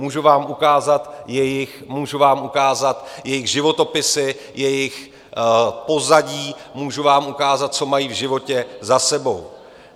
Můžu vám ukázat jejich životopisy, jejich pozadí, můžu vám ukázat, co mají v životě za sebou.